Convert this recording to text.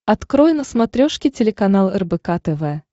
открой на смотрешке телеканал рбк тв